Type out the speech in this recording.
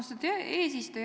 Austatud eesistuja!